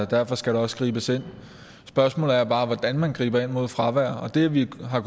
derfor skal der også gribes ind spørgsmålet er bare hvordan man griber ind mod fravær og det vi har